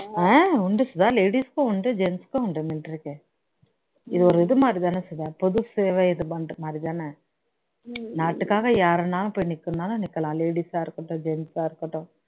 ஆஹ் உண்டு சுதா ladies க்கும் உண்டு gens க்கும் உண்டு military இது ஒரு இது மாதிரி தான போது சேவை இது பண்ற மாதிரிதான நாட்டுக்காக யாருன்னாலும் போய் நிக்கனும்னாலும் நிக்கலாம் ladies ஆ இருக்கட்டும் gens ஆ இருக்கட்டும்